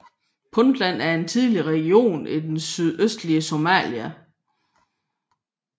Puntland er en tidligere region i det nordøstlige Somalia